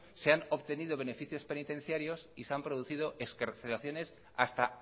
se han obtenido beneficios penitenciarios y se han producido excarcelaciones hasta